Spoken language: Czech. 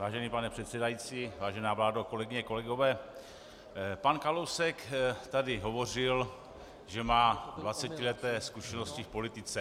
Vážený pane předsedající, vážená vládo, kolegyně, kolegové, pan Kalousek tady hovořil, že má 20leté zkušenosti v politice.